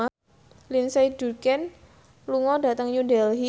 Lindsay Ducan lunga dhateng New Delhi